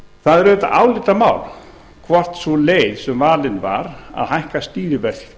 það er auðvitað álitamál hvort sú leið sem valin var að hækka stýrivexti